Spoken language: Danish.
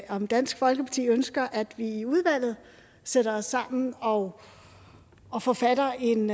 om dansk folkeparti ønsker at vi i udvalget sætter os sammen og og forfatter en